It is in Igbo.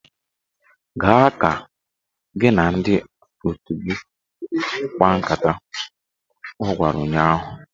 Gaa ka gị na ndị otu gị kpaa nkata! Ọ gwara ụnyaahụ